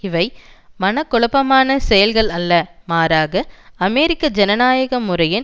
இவை மனக்குழப்பமான செயல்கள் அல்ல மாறாக அமெரிக்க ஜனநாயக முறையின்